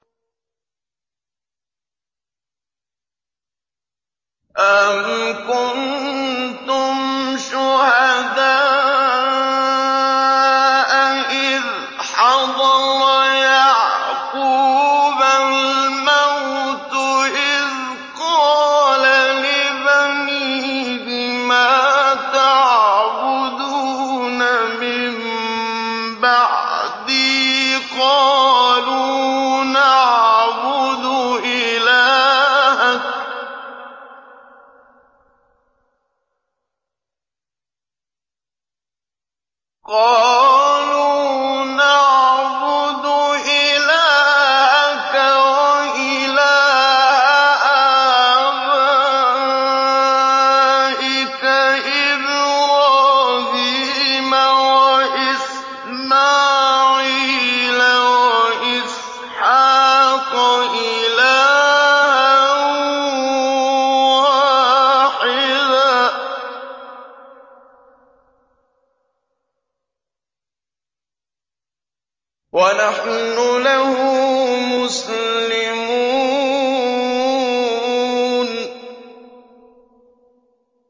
أَمْ كُنتُمْ شُهَدَاءَ إِذْ حَضَرَ يَعْقُوبَ الْمَوْتُ إِذْ قَالَ لِبَنِيهِ مَا تَعْبُدُونَ مِن بَعْدِي قَالُوا نَعْبُدُ إِلَٰهَكَ وَإِلَٰهَ آبَائِكَ إِبْرَاهِيمَ وَإِسْمَاعِيلَ وَإِسْحَاقَ إِلَٰهًا وَاحِدًا وَنَحْنُ لَهُ مُسْلِمُونَ